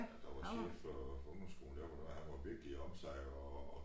Der var chef for ungdomsskolen der hvor det var han var virkelig om sig og